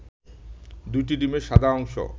২টি ডিমের সাদা অংশ